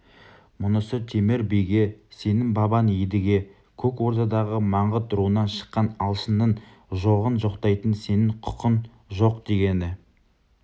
мұнысы темір биге сенің бабаң едіге көк ордадағы маңғыт руынан шыққан алшынның жоғын жоқтайтын сенің құқың жоқдегені